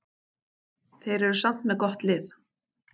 Þeir eru samt með gott lið.